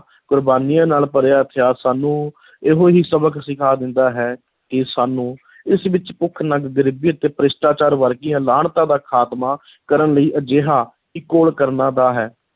ਕੁਰਬਾਨੀਆਂ ਨਾਲ ਭਰਿਆ ਇਤਿਹਾਸ ਸਾਨੂੰ ਇਹੋ ਹੀ ਸਬਕ ਸਿਖਾ ਦਿੰਦਾ ਹੈ ਕਿ ਸਾਨੂੰ ਇਸ ਵਿੱਚ ਭੁੱਖ-ਨੰਗ ਗਰੀਬੀ ਅਤੇ ਭ੍ਰਿਸ਼ਟਾਚਾਰ ਵਰਗੀਆਂ ਲਾਹਨਤਾਂ ਦਾ ਖ਼ਾਤਮਾ ਕਰਨ ਲਈ ਅਜਿਹਾ ਹੀ ਘੋਲ ਕਰਨਾ ਦਾ ਹੈ,